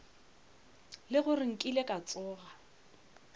le gore nkile ka tsoga